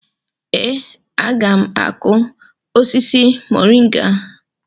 Ee, a ga m akụ osisi moringa..